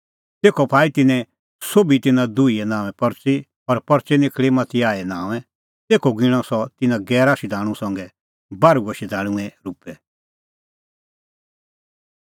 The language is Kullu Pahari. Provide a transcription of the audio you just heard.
तेखअ पाई तिन्नैं सोभी तिन्नां दुहीए नांओंए परच़ी और परच़ी निखल़ी मतियाहे नांओंए तेखअ गिणअ सह तिन्नां गैरा शधाणूं संघै बार्हूऐ शधाणूंए रुपै